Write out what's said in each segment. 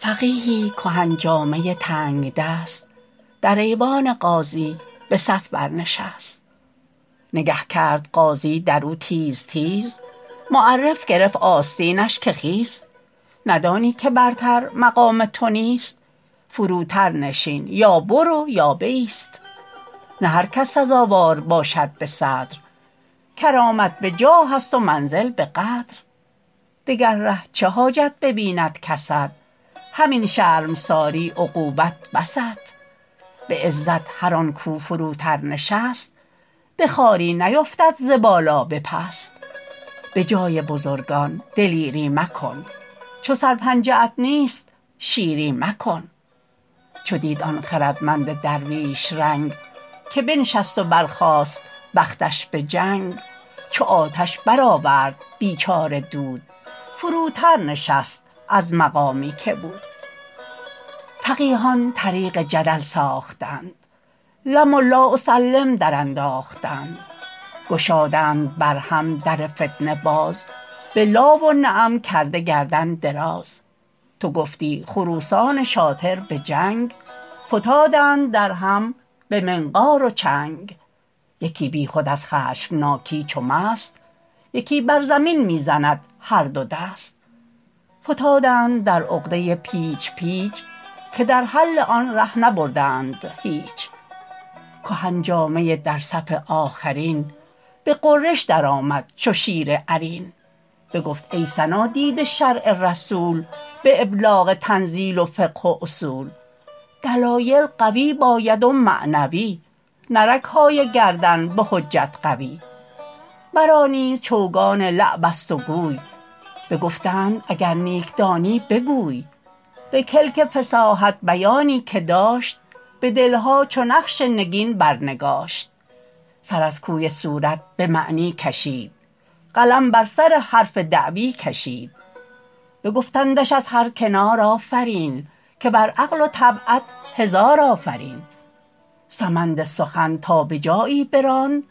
فقیهی کهن جامه تنگدست در ایوان قاضی به صف بر نشست نگه کرد قاضی در او تیز تیز معرف گرفت آستینش که خیز ندانی که برتر مقام تو نیست فروتر نشین یا برو یا بایست نه هر کس سزاوار باشد به صدر کرامت به جاه است و منزل به قدر دگر ره چه حاجت ببیند کست همین شرمساری عقوبت بست به عزت هر آن کاو فروتر نشست به خواری نیفتد ز بالا به پست به جای بزرگان دلیری مکن چو سر پنجه ات نیست شیری مکن چو دید آن خردمند درویش رنگ که بنشست و برخاست بختش به جنگ چو آتش برآورد بیچاره دود فروتر نشست از مقامی که بود فقیهان طریق جدل ساختند لم و لا اسلم درانداختند گشادند بر هم در فتنه باز به لا و نعم کرده گردن دراز تو گفتی خروسان شاطر به جنگ فتادند در هم به منقار و چنگ یکی بی خود از خشمناکی چو مست یکی بر زمین می زند هر دو دست فتادند در عقده پیچ پیچ که در حل آن ره نبردند هیچ کهن جامه در صف آخرترین به غرش در آمد چو شیر عرین بگفت ای صنادید شرع رسول به ابلاغ تنزیل و فقه و اصول دلایل قوی باید و معنوی نه رگهای گردن به حجت قوی مرا نیز چوگان لعب است و گوی بگفتند اگر نیک دانی بگوی به کلک فصاحت بیانی که داشت به دلها چو نقش نگین بر نگاشت سر از کوی صورت به معنی کشید قلم بر سر حرف دعوی کشید بگفتندش از هر کنار آفرین که بر عقل و طبعت هزار آفرین سمند سخن تا به جایی براند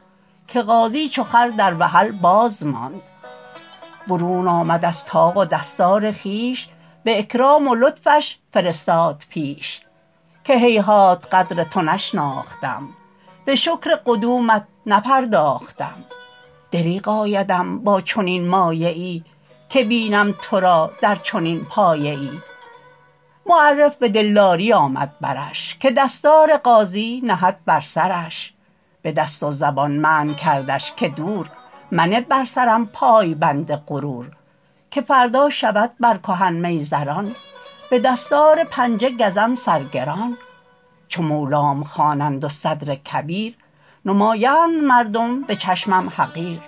که قاضی چو خر در وحل باز ماند برون آمد از طاق و دستار خویش به اکرام و لطفش فرستاد پیش که هیهات قدر تو نشناختم به شکر قدومت نپرداختم دریغ آیدم با چنین مایه ای که بینم تو را در چنین پایه ای معرف به دلداری آمد برش که دستار قاضی نهد بر سرش به دست و زبان منع کردش که دور منه بر سرم پایبند غرور که فردا شود بر کهن میزران به دستار پنجه گزم سر گران چو مولام خوانند و صدر کبیر نمایند مردم به چشمم حقیر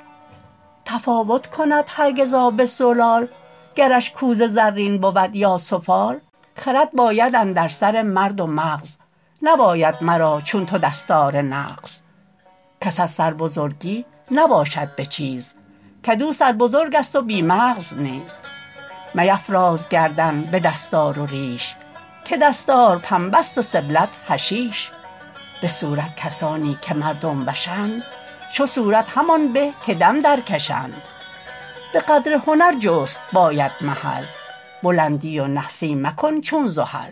تفاوت کند هرگز آب زلال گرش کوزه زرین بود یا سفال خرد باید اندر سر مرد و مغز نباید مرا چون تو دستار نغز کس از سربزرگی نباشد به چیز کدو سربزرگ است و بی مغز نیز میفراز گردن به دستار و ریش که دستار پنبه ست و سبلت حشیش به صورت کسانی که مردم وشند چو صورت همان به که دم در کشند به قدر هنر جست باید محل بلندی و نحسی مکن چون زحل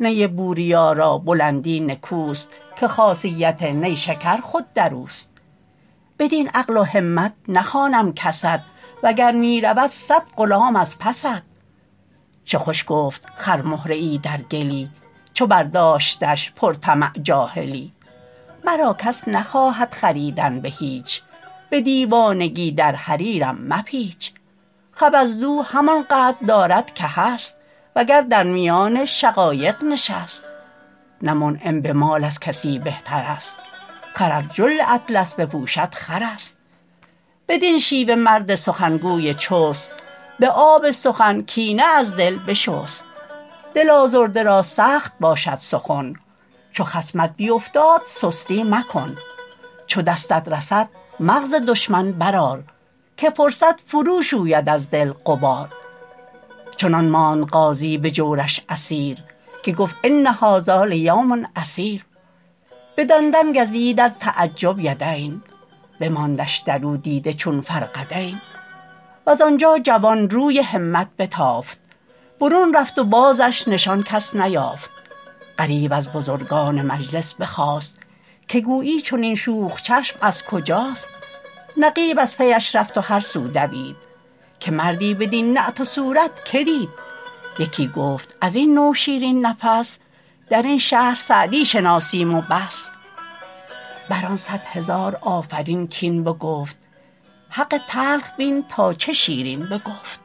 نی بوریا را بلندی نکوست که خاصیت نیشکر خود در اوست بدین عقل و همت نخوانم کست و گر می رود صد غلام از پست چه خوش گفت خرمهره ای در گلی چو برداشتش پر طمع جاهلی مرا کس نخواهد خریدن به هیچ به دیوانگی در حریرم مپیچ خبزدو همان قدر دارد که هست وگر در میان شقایق نشست نه منعم به مال از کسی بهتر است خر ار جل اطلس بپوشد خر است بدین شیوه مرد سخنگوی چست به آب سخن کینه از دل بشست دل آزرده را سخت باشد سخن چو خصمت بیفتاد سستی مکن چو دستت رسد مغز دشمن بر آر که فرصت فرو شوید از دل غبار چنان ماند قاضی به جورش اسیر که گفت ان هذا لیوم عسیر به دندان گزید از تعجب یدین بماندش در او دیده چون فرقدین وز آنجا جوان روی همت بتافت برون رفت و بازش نشان کس نیافت غریو از بزرگان مجلس بخاست که گویی چنین شوخ چشم از کجاست نقیب از پیش رفت و هر سو دوید که مردی بدین نعت و صورت که دید یکی گفت از این نوع شیرین نفس در این شهر سعدی شناسیم و بس بر آن صد هزار آفرین کاین بگفت حق تلخ بین تا چه شیرین بگفت